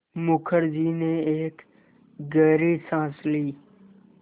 मुखर्जी ने एक गहरी साँस ली